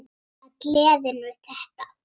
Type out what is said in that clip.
Það er gleðin við þetta.